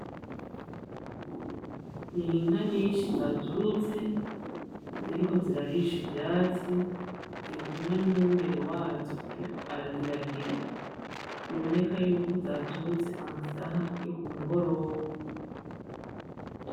N'inka nyinshi zaturutse, ziriko zirarisha ivyatsi, biri kumwe n’umwungere wazo ariko araziragira, biboneka yuko zaturutse amasaha yo kumugoroba.